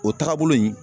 O taagabolo in